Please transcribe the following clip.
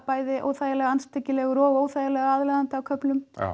bæði óþægilega andstyggilegur og óþægilega aðlaðandi á köflum